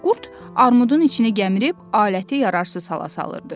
Qurt armudun içinə gəmirib, aləti yararsız hala salırdı.